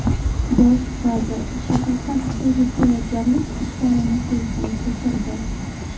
Bosh vazir Shahrisabzdagi tayyorgarlik ishlarini ko‘zdan kechirdi.